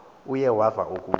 uye weva ukuba